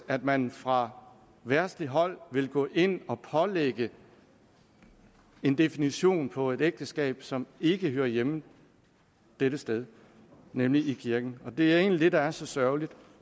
at man fra verdsligt hold vil gå ind og pålægge en definition på et ægteskab som ikke hører hjemme dette sted nemlig i kirken og det er egentlig det der er så sørgeligt